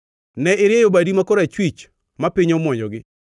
Ne irieyo badi ma korachwich ma piny omwonyogi.